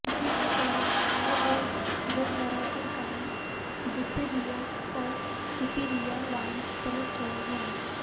जिस पर हर रोज जलभराव के कारण दुपहिया और तिपहिया वाहन पलट रहे हैं